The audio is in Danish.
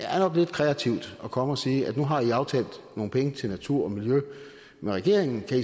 er lidt kreativt at komme og sige nu har i aftalt at afsætte nogle penge til natur og miljø med regeringen